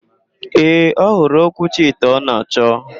Ee, ọhụrụ okwuchi ite ọ na-achọ.